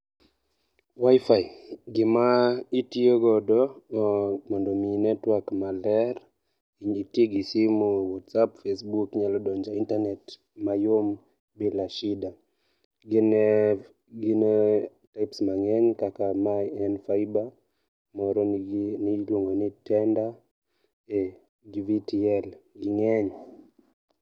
WIFI gima itiyo godo mondo omi network maber, iti gi simu e whatsapp, facebook. Inyalo donjo e internet mayom bila shida. Gin, gin types mang'eny kaka mae en faiba, moro nigi ni iluongo ni tender gi Gtl. Ging'eny.